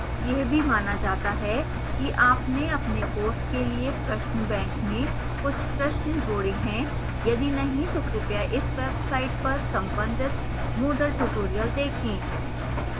यह भी माना जाता है कि आपने अपने course के लिए प्रश्न bank में कुछ प्रश्न जोड़े हैं